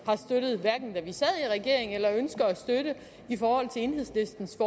at vi sad i regering eller ønsker at støtte i forhold til enhedslistens